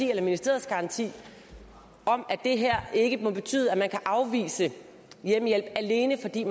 ved ministeriets garanti om at det her ikke må betyde at man kan afvise at give hjemmehjælp alene fordi